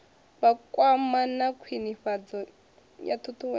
vhakwama na khwinifhadzo ya ṱhuṱhuwedzo